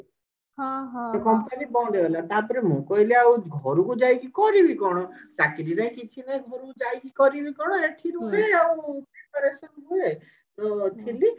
ତ company ବନ୍ଦ ହେଇଗଲା ତାପରେ ମୁଁ କହିଲି ଆଉ ଘରକୁ ଯାଇକି କରିବି କଣ ଚାକିରୀ ନାଇଁ କିଛି ନାଇଁ ଘରକୁ ଯାଇ କରିବି କଣ ଏଠି ରହିବି ଆଉ ଥିଲି